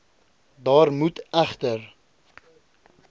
daar moet egter